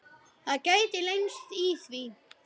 Það gætu leynst í því.